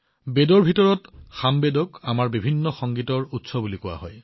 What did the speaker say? বেদত সামবেদক আমাৰ বিবিধ সংগীতৰ উৎস বুলি কোৱা হৈছে